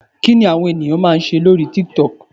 Kí ni àwọn ènìyàn máa ń ṣe lórí TikTok.